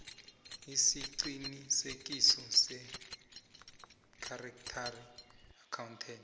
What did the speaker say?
isiqinisekiso sechartered accountant